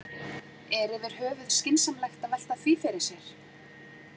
Er yfirhöfuð skynsamlegt að velta því fyrir sér?